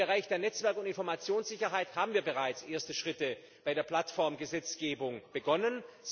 Im Bereich der Netzwerk und Informationssicherheit haben wir bereits erste Schritte bei der Plattform Gesetzgebung begonnen.